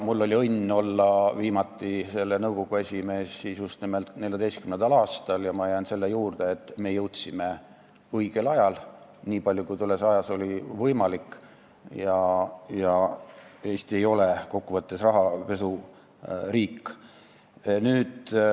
Mul oli õnn olla viimati selle nõukogu esimees just nimelt 2014. aastal ja ma jään selle juurde, et me jõudsime tegutseda õigel ajal, nii palju kui tollel ajal oli võimalik, ja Eesti ei ole kokkuvõttes rahapesuriik.